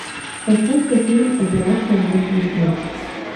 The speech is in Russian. поставь ка фильм операция мертвый снег